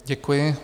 Děkuji.